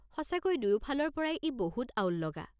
সঁচাকৈ দুয়োফালৰ পৰাই ই বহুত আউল লগা।